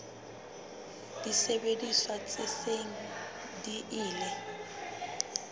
disebediswa tse seng di ile